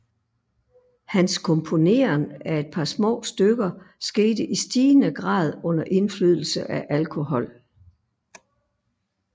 Hans komponeren af et par små stykker skete i stigende grad under indflydelse af alkohol